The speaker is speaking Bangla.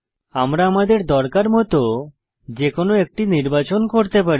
আমরা আমাদের দরকার মত যে কোনো একটি নির্বাচন করতে পারি